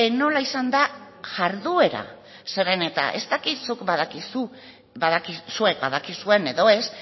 nola izan den jarduera zeren ez dakit zuek badakizuen edo ez